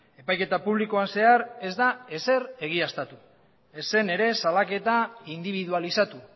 epaiketa publikoan zehar ez da ezer egiaztatu ez zen ere salaketa indibidualizatu